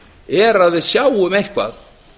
er að við sjáum eitthvað